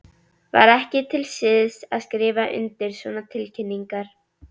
Var ekki til siðs að skrifa undir svona tilkynningar?